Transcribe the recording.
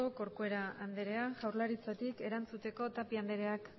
corcuera anderea jaurlaritzatik erantzuteko tapia andereak